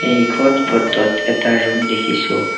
এইখন ফটো ত এটা ৰুম দেখিছোঁ।